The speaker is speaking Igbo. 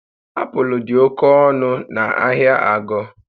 Apụl dị oke ọnụ na ahịa Ago